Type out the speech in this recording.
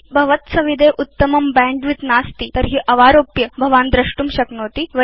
यदि भव द्सविधे उत्तमं बैण्डविड्थ नास्ति तर्हि भवान् अवारोप्य द्रष्टुं शक्नोति